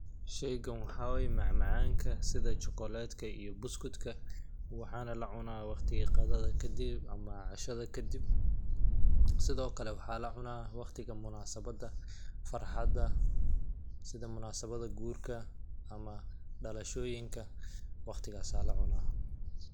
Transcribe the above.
Sheeygan waxaa way macmacaank sida chocolate ka iyo buskudka waxaana la cunaa watiga qadada kadib ama cashada kadib .Sidoo kle waxaa la cunaa waqtiga munaasabada farxada, sida munasabada guurka ama dhalashooyinka ,waqtigaasaa la cunaa.